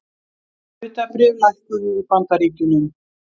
Hlutabréf lækkuðu í Bandaríkjunum